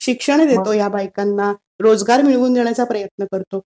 शिक्षण देतो या बायकांना. रोजगार मिळवून देण्याचा प्रयत्न करतो.